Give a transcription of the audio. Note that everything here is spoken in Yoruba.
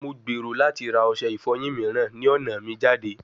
Mo gbero lati ra ose ifoyin miiran ni ọna mi jade